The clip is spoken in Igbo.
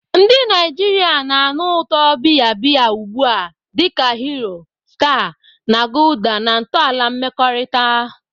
Ndị Naijiria na-anụ ụtọ biya biya ugbu a dị ka Hero, Star, na Gulder na ntọala mmekọrịta.